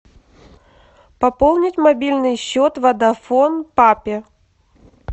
пополнить мобильный счет водафон папе